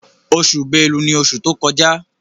Oṣù Bélú ní oṣù tí o kọjá.